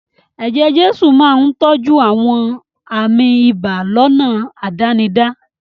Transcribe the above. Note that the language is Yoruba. Eje-jesu máa ń tọ́jú àwọn àmì ibà lọ́nà àdánidá.